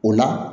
O la